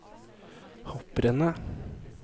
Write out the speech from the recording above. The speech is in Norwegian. hopprennet